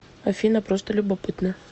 афина просто любопытно